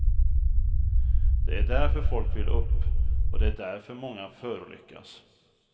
Det är därför folk vill upp, och det är därför många förolyckas.